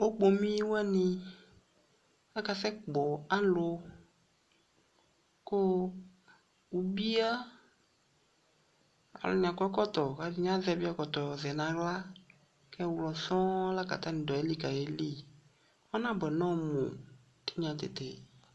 Okpomi wane aka sɛ kpɔ alu ko ubia Alu ne akɔ ɛkɔtɔ, ɛde ne azɛvi ɛkɔtɔ zɛ nahla kɛ ɛwlɔ sɔɔn la ka atane do ayili kaye liƆnabuɛ nɔmu tenya tete